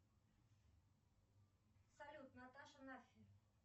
салют наташа наффи